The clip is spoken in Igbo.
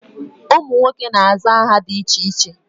Ụmụ nwoke na-aza aha dị iche iche.